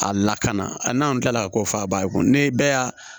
A lakana a n'anw ta la a ko fɔ a ba ye ko ne bɛɛ y'a